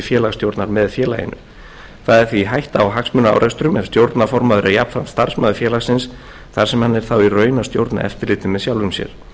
félagsstjórnar með félaginu það er því hætta á hagsmunaárekstrum ef stjórnarformaður er jafnframt starfsmaður félagsins þar sem hann er þá í raun að stjórna eftirliti með sjálfum sér